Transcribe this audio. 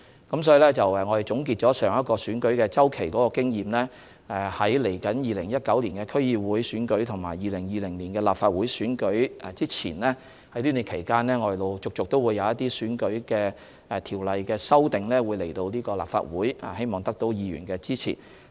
因此在總結上一個選舉周期的經驗後，在2019年區議會選舉和2020年立法會選舉舉行前的這段期間，我們會陸續將一些選舉條例的修訂提交立法會，希望得到議員支持。